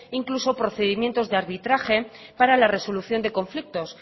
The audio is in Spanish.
incluso procedimientos de arbitraje para la resolución de conflictos